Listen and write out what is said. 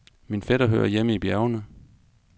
Min fætter hører hjemme i bjergene.